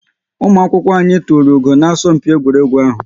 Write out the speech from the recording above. Ụmụ akwụkwọ anyị tụrụ ugo na asọmpi egwuregwu ahu